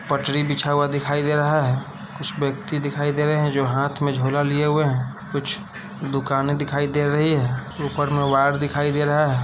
पटरी बिछा हुआ दिखाई दे रहा है। कुछ व्यक्ति दिखाई दे रहे हैं जो हाथ में झोला लिए हुए हैं कुछ दुकाने दिखाई दे रही हैं। ऊपर में वायर दिखाई दे रहा है।